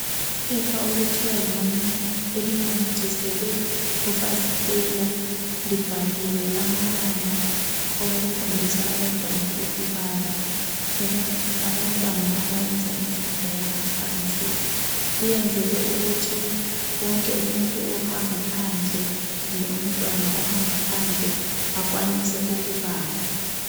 Iphepha okuthiwa yimanila elinamathiselwa kufasitela libhaliwe amabala okubala, abantwana abafunda imfundo yangaphansi. Liyenzelwe ukuthi wonke umuntu kumbe wonke umntwana ohamba phandle akwanise ukubala.